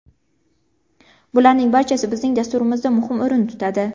Bularning barchasi bizning dasturimizda muhim o‘rin tutadi.